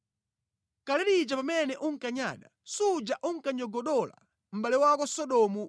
Kale lija pamene unkanyada, suja unkanyogodola mʼbale wako Sodomu